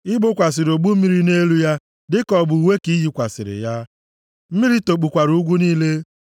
I gbokwasịrị ogbu mmiri nʼelu ya dịka ọ bụ uwe ka i yikwasịrị ya, mmiri tokpukwara ugwu niile.